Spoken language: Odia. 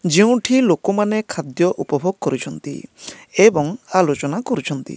ଯେଉଁଠି ଲୋକମାନେ ଖାଦ୍ୟ ଉପଭୋଗ କରୁଛନ୍ତି। ଏବଂ ଆଲୋଚନା କରୁଛନ୍ତି।